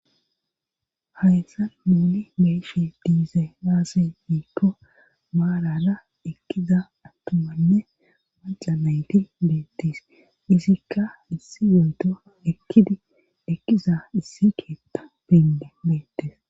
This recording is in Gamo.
hayssa muuli beyshi diiza aase miikko maalana ekkiza attumanne maca nayti beettis izikka issi yoyto ekkidi ekkiza issi keetta beinde beettes